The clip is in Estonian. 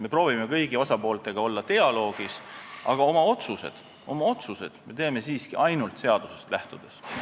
Me proovime kõigi osapooltega olla dialoogis, aga oma otsused me teeme siiski ainult seadusest lähtudes.